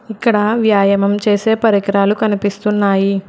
ఇక్కడ వ్యాయామం చేసే పరికరాలు కనిపిస్తున్నాయి.